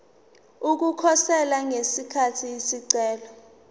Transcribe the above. ukukhosela ngesikhathi isicelo